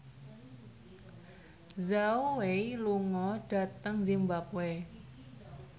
Zhao Wei lunga dhateng zimbabwe